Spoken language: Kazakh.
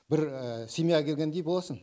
бір семьяға келгендей боласың